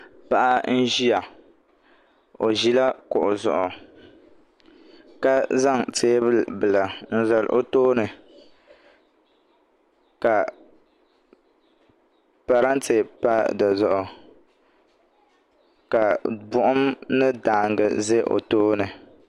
Paɣa n ʒiya o ʒila kuɣu zuɣu ka zaŋ teebuli bila n zali o tooni ka parantɛ pa di zuɣu ka buɣum ni daangi ʒɛ o tooni